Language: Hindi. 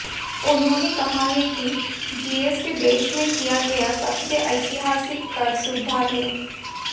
उन्होंने कहा है कि जीएसटी देश में किया गया सबसे ऐतिहासिक कर सुधार है